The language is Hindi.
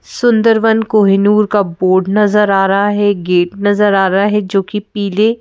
सुंदरवन कोहिनूर का बोर्ड नजर आ रहा है गेट नजर आ रहा है जो कि पीले--